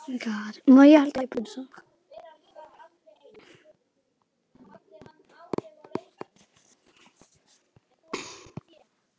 Það finnst mér ekki passa.